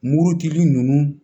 Murutigi ninnu